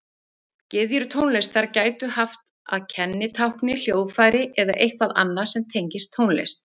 Gyðjur tónlistar gætu haft að kennitákni hljóðfæri eða eitthvað annað sem tengist tónlist.